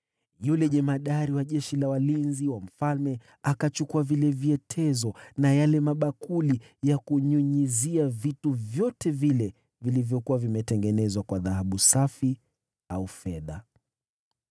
Jemadari wa askari walinzi wa mfalme akachukua vile vyetezo na yale mabakuli ya kunyunyizia, vitu vyote vile vilivyokuwa vimetengenezwa kwa dhahabu safi au fedha.